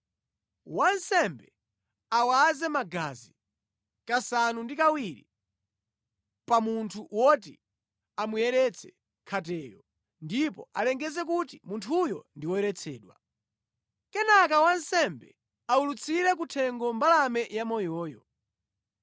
Wansembe awaze magazi kasanu ndi kawiri pa munthu woti amuyeretse khateyo ndipo alengeze kuti munthuyo ndi woyeretsedwa. Kenaka wansembe awulutsire ku thengo mbalame yamoyoyo.